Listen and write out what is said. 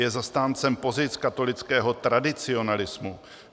- Je zastáncem pozic katolického tradicionalismu.